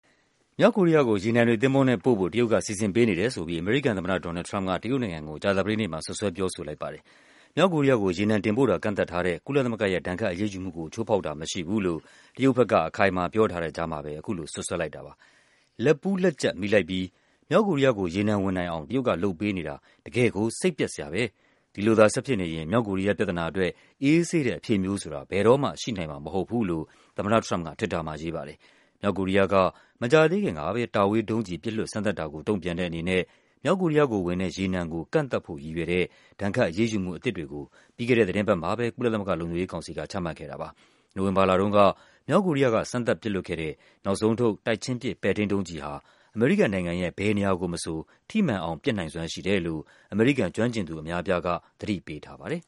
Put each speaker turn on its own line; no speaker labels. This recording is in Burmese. မြောက်ကိုရီးယားကို ရေနံတွေ သင်္ဘောနဲ့ပို့ဖို့ တရုတ်က စီစဉ်ပေးနေတယ်ဆိုပြီး အမေရိကန်သမ္မတ ဒေါ်နယ်လ်ဒ် ထရမ့်ပ်က တရုတ်နိုင်ငံကို ကြာသပတေးနေ့မှာ စွပ်စွဲ ပြောဆိုလိုက်ပါတယ်။ မြောက်ကိုရီးယားကို ရေနံတင်ပို့တာ ကန့်သတ်ထားတဲ့ ကုလသမဂ္ဂရဲ့ ဒဏ်ခတ်အရေးယူမှုကို ချိုးဖောက်တာမရှိဘူးလို့ တရုတ် ဘက်က အခိုင်အမာပြောထားတဲ့ကြားမှာပဲ အခုလို စွပ်စွဲလိုက်တာပါ။ “လက်ပူးလက်ကျပ် မိလိုက်ပြီ၊ မြောက်ကိုရီးယားကို ရေနံဝင်နိုင်အောင် တရုတ်ကလုပ်ပေးနေတာ တကယ့်ကို စိတ်ပျက်စရာပဲ၊ ဒီလိုသာ ဆက်ဖြစ်နေရင် မြောက်ကိုရီးယားပြဿနာအတွက် အေးဆေးတဲ့အဖြေမျိုးဆိုတာ ဘယ်တော့မှ ရှိနိုင်မှာမဟုတ်ဘူး” လို့ သမ္မတထရမ့်ပ်က Twitter မှာရေးတာပါ။ မြောက်ကိုရီးယားက မကြာသေးခင်ကပဲ တာဝေးဒုံးကျည် ပစ်လွှတ်စမ်းသပ်တာကို တုန့်ပြန်တဲ့အနေနဲ့ မြောက်ကိုရီးယားကိုဝင်တဲ့ ရေနံကို ကန့်သတ်ဖို့ရည်ရွယ်တဲ့ ဒဏ်ခတ်အရေးယူမှုအသစ်တွေကို ပြီးခဲ့တဲ့သီတင်းပတ်မှာပဲ ကုလသမဂ္ဂ လုံခြုံရေးကောင်စီက ချမှတ်ခဲ့တာပါ။ နိုဝင်ဘာလတုန်းက မြောက်ကိုရီးယား စမ်းသပ်ပစ်လွှတ်ခဲ့တဲ့ နောက်ဆုံးထုတ် တိုက်ချင်းပစ် ပဲ့ထိန်းဒုံးကျည်ဟာ အမေရိကန်နိုင်ငံ ရဲ့ ဘယ်နေရာကိုမဆို ထိမှန်အောင်ပစ်နိုင်စွမ်းရှိတယ်လို့ အမေရိကန်ကျွမ်းကျင်သူ အများအပြားက သတိပေးထားပါတယ်